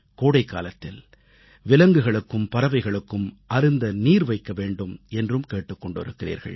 கோடைக்காலத்தில் விலங்குகளுக்கும் பறவைகளுக்கும் அருந்த நீர் வைக்க வேண்டும் என்றும் கேட்டுக் கொண்டிருக்கிறீர்கள்